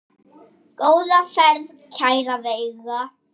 Góða ferð, kæra Veiga.